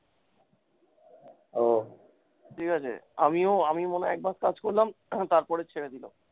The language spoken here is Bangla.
ঠিকাছে, আমিও আমি মনে হয় একমাস কাজ করলাম তারপরে ছেড়ে দিল।